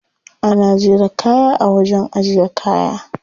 Ana jera kaya a wajen ajiye kaya.